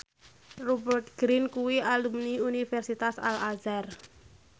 Rupert Grin kuwi alumni Universitas Al Azhar